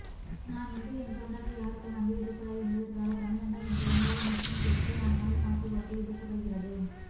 நான் இந்து என்ற உணர்வு யாருக்கும் வந்துவிடக்கூடாது என்பதற்காக தமிழன்டா என்ற உணர்வு மூஸ்லீம் கிரிஸ்டியன்னால் காசு கொடுத்து விதைக்கபடுகிறது